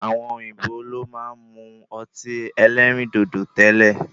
Àwọn òyìnbó lo máa ń mu ọtí ẹlẹ́rìndòdò tẹ́lẹ̀.